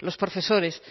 los profesores